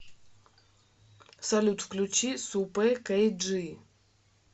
салют включи супэ кэй джи